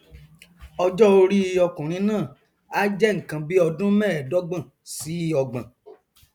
ọjọorí ọkùnrin náà a jẹ nkan bíi ọdún mẹẹẹdọgbọn sí ọgbọn